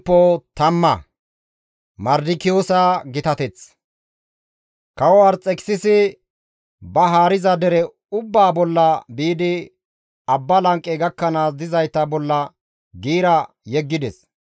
Kawo Arxekisisi ba haariza dere ubbaa bolla biidi abba lanqe gakkanaas dizayta bolla giira yeggides.